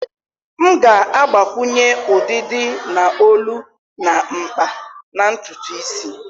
M ga-agbakwunye udidi na olu na mkpa na ntutu isi.